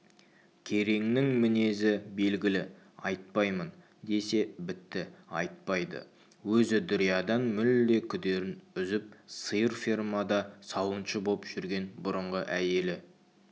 кереңнің мінезі белгілі айтпаймын десе бітті айтпайды өзі дүриядан мүлде күдерін үзіп сиыр фермада сауыншы боп жүрген бұрынғы әйелі